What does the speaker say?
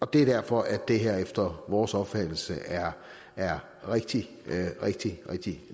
det er derfor det her efter vores opfattelse er er rigtig rigtig rigtig